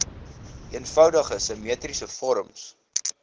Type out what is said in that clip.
eenvoudige simmetriese vorms